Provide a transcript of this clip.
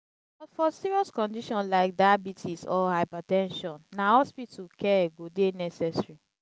but for serious condition like diabites or hyber ten sion na hospital care go dey necessary.